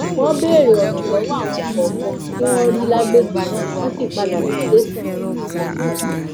wọn béèrè ọrọ lọwọ àwọn kọọkan tí wọn rí lágbègbè náà wọn sì padà sí tẹsán wọn